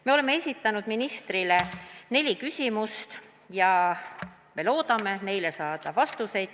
Me oleme esitanud ministrile neli küsimust ja me loodame saada neile vastuseid.